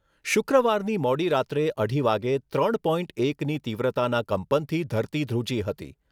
શુક્રવારની મોડી રાત્રે અઢી વાગ્યે ત્રણ પોઇન્ટ એકની તીવ્રતાના કંપનથી ધરતી ધ્રુજી હતી.